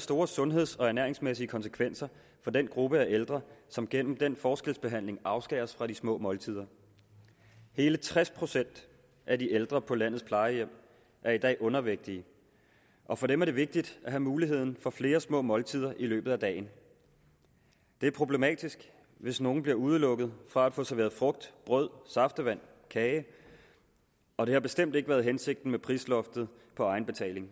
store sundhedsmæssige konsekvenser for den gruppe af ældre som gennem den forskelsbehandling afskæres fra de små måltider hele tres procent af de ældre på landets plejehjem er i dag undervægtige og for dem er det vigtigt at have muligheden for få flere små måltider i løbet af dagen det er problematisk hvis nogen bliver udelukket fra at få serveret frugt brød saftevand kage og det har bestemt ikke været hensigten med prisloftet på egenbetaling